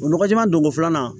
O nɔgɔ jɛman don ko filanan